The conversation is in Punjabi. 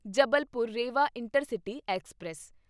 Jabalpur Rewa intercity express